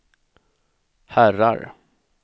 herrar